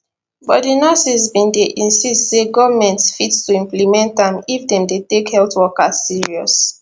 but di nurses bin dey insist say goment fit to implement am if dem dey take health workers serious